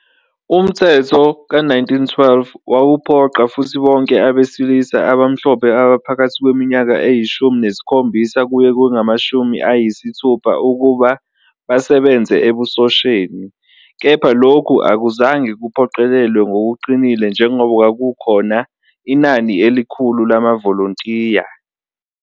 Umthetho ka-1912 wawuphoqa futhi bonke abesilisa abamhlophe abaphakathi kweminyaka eyishumi nesikhombisa kuya kwengamashumi ayisithupha ukuba basebenze ebusosheni, kepha lokhu akuzange kuphoqelelwe ngokuqinile njengoba kwakukhona inani elikhulu lamavolontiya.